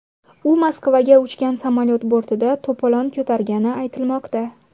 U Moskvaga uchgan samolyot bortida to‘polon ko‘targani aytilmoqda.